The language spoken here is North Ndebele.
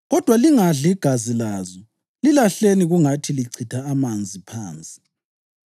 Kodwa lingadli igazi lazo; lilahleni kungathi lichitha amanzi phansi.